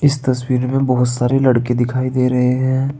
इस तस्वीर में बहोत सारे लड़के दिखाई दे रहे हैं।